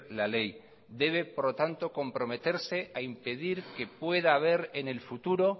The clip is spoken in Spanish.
la ley debe por tanto comprometerse a impedir que pueda haber en el futuro